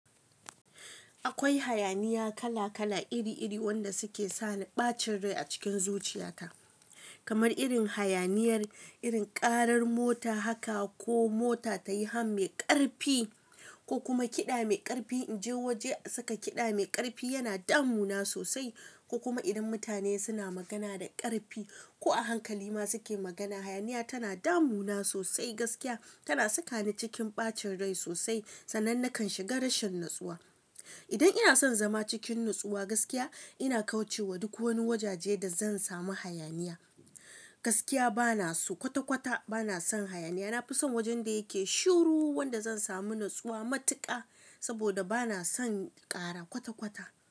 Akwai hayaniya kala kala iri iri wanda suke sa ni ɓacin rai a cikin zuciyata, kamar irin hayaniyar, irin ƙarar mota haka ko mota ta yi han mai ƙarfi ko kuma kiɗa mai ƙarfi. In je waje a saka kiɗa mai ƙarfi yana damu na sosai, ko kuma idan mutane suna magana da ƙarfi ko a hankali ma suke magana, hayaniya tana damu na sosai gaskiya. Tana saka ni cikin ɓacin rai sosai, sannan na kan shiga rashin natsuwa. Idan ina son zama cikin natsuwa gaskiya, ina kauce wa duk wani wajaje da zan samu hayaniya. Gaskiya bana so kwata kwata bana son hayaniya. Nafi son wajan da yake shiru wanda zan samu natsuwa matuƙa saboda bana son ƙara kwata kwata.